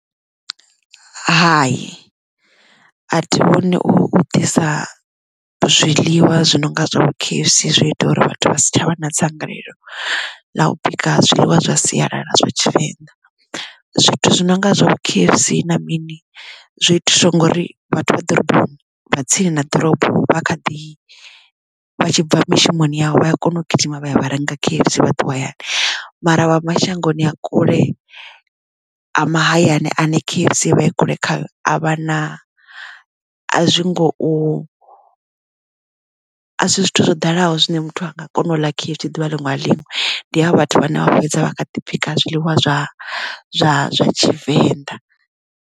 Hai. a thi vhoni u ḓisa zwiḽiwa zwi no nga zwa vho K_F_C zwo ita uri vhathu vha si tshavha na dzangalelo ḽa u bika zwiḽiwa zwa sialala zwa tshivenḓa. Zwithu zwi nonga zwa vho K_F_C na mini zwi itiswa ngori vhathu vha ḓorobo vha tsini na ḓorobo vha kha ḓi vha tshibva mishumoni avho vhaya kona u gidima vha ya vha renga K_F_C vha ṱuwa hayani mara wa mashangoni a kule ha mahayani ane K_F_C i vha i kule kha a vha na a zwi ngo a si zwithu zwo dalaho zwine muthu a nga kona u ḽa K_F_C ḓuvha liṅwe na liṅwe ndi ha vhathu vhane vha fhedza vha kha ḓi bika zwiḽiwa zwa zwa zwa tshivenḓa.